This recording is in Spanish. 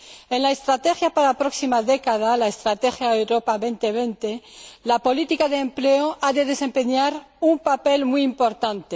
En la estrategia para la próxima década, la estrategia Europa 2020, la política de empleo ha de desempeñar un papel muy importante.